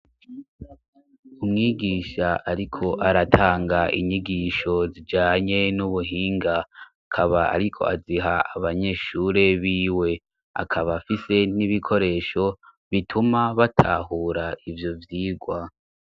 Umwigisha ariko aratanga inyigisho zijanye n'ubuhinga, akaba ariko aziha abanyeshure b'iwe, akaba afise n'ibikoresho bituma batahura ivyo vyigwa.